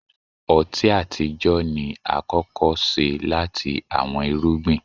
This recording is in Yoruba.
ọti atijọ ni akọkọ ṣe lati awọn irugbin.